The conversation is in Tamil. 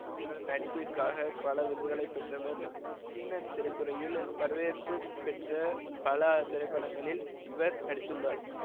இவரது நடிப்பிற்காக பல விருதுகளை பெற்றவர் சீன திரைத்துறையில் வரவேற்பு பெற்ற பல திரைப்படங்களில் இவர் நடித்துள்ளார்